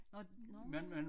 Nå nårh